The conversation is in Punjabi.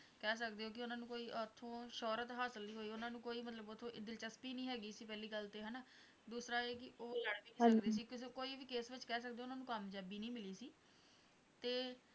ਕਹਿ ਸਕਦੇ ਹੋਂ ਕਿ ਉਹਨਾਂ ਨੂੰ ਕੋਈ ਉਥੋਂ ਸ਼ੋਹਰਤ ਹਾਸਲ ਨਹੀਂ ਹੋਈ, ਉਹਨਾਂ ਨੂੰ ਕੋਈ ਮਤਲੱਬ ਉਥੋਂ ਦਿਲਚਸਪੀ ਨਹੀਂ ਹੈ ਗੀ ਸੀ ਪਹਿਲੀ ਗੱਲ ਤਾਂ ਇਹ ਹਨਾ, ਦੂਸਰਾ ਇਹ ਕਿ ਉਹ ਕੋਈ ਵੀ case ਵਿੱਚ ਕਹਿ ਸਕਦੇ ਹੋਂ ਉਹਨਾਂ ਨੂੰ ਕਾਮਯਾਬੀ ਨਹੀਂ ਮਿਲੀ ਸੀ, ਤੇ